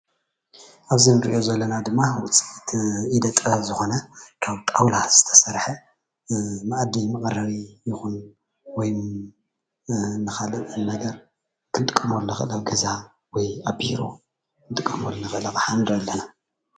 ኣብዚ እንሪኦ ዘለና ድማ ስራሕቲ ኢደ ጥበብ ዝኮነ ካብ ጣውላ ዝተሰርሐ መኣዲ መቀረቢ ይኩን ወይ ንካሊእ ነገር ክንጥቀመሉ ንክእል ኣብ ገዛ ወይ ኣብ ቢሮ ክንጥቀመሉ ንክእል ኣቅሓ ንርኢ ኣለና፡፡